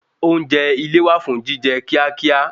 Oúnjẹ ile wà fún jíjẹ kíá kíá